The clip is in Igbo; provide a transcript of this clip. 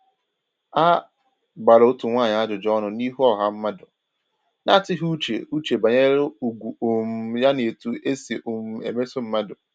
A gbara otu nwaanyị ajụjụ ọnụ n’ihu ọha mmadụ, na-atụghị uche uche banyere ugwu um ya na etu e si um emeso mmadụ